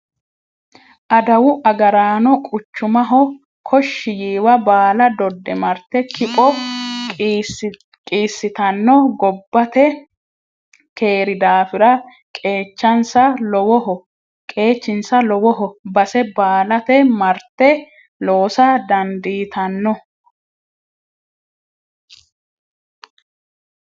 Adawu agarano quchumaho koshi yiiwa baalla dodde marte kipho qiisittano gobbate keeri daafira qeechinsa lowoho base baallate marte loossa dandiittano.